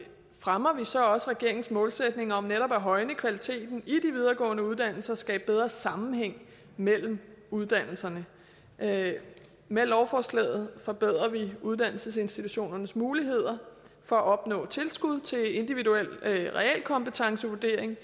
fremmer vi så også regeringens målsætning om netop at højne kvaliteten i de videregående uddannelser og skabe bedre sammenhæng mellem uddannelserne med med lovforslaget forbedrer vi uddannelsesinstitutionernes muligheder for at opnå tilskud til individuel realkompetencevurdering